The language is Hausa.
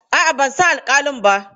A'a, ban san alƙalin ba.